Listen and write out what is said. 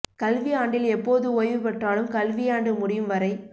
கல்வி ஆண்டில் எப்போது ஓய்வு பெற்றாலும் கல்வி யாண்டு முடியும் வரை